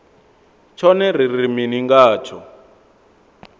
tshone ri ri mini ngatsho